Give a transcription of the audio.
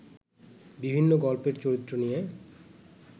বিভিন্ন গল্পের চরিত্র নিয়ে